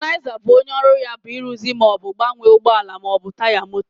vulcanizer bụ onye ọrụ ya bụ ịrụzi ma ọ bụ gbanwee ụgbọ ala ma ọ bụ taya moto.